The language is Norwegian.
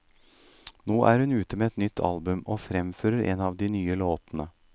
Nå er hun ute med nytt album, og fremfører en av de nye låtene.